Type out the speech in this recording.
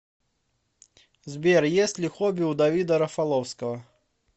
сбер есть ли хобби у давида рафаловского